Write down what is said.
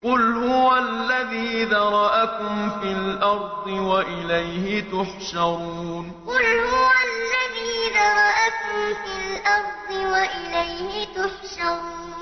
قُلْ هُوَ الَّذِي ذَرَأَكُمْ فِي الْأَرْضِ وَإِلَيْهِ تُحْشَرُونَ قُلْ هُوَ الَّذِي ذَرَأَكُمْ فِي الْأَرْضِ وَإِلَيْهِ تُحْشَرُونَ